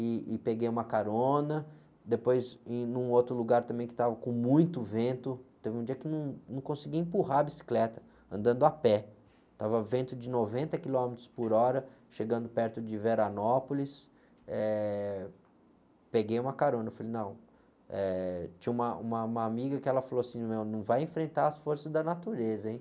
e, e peguei uma carona, depois em um outro lugar também que estava com muito vento, teve um dia que não, não conseguia empurrar a bicicleta, andando a pé, estava vento de noventa quilômetros por hora, chegando perto de Veranópolis, eh, peguei uma carona, falei, não, eh, tinha uma, uma, uma amiga que falou assim, não vai enfrentar as forças da natureza, hein?